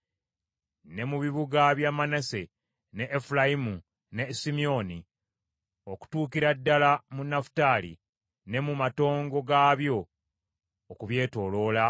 Ne mu bibuga bya Manase, ne Efulayimu, ne Simyoni, okutuukira ddala mu Nafutaali, ne mu matongo gaabyo okubyetooloola,